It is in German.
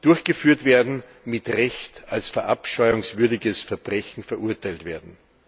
durchgeführt werden, mit Recht als verabscheuungswürdiges Verbrechen verurteilt werden.